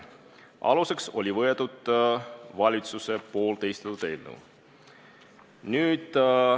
Aluseks oli võetud valitsuse esitatud eelnõu.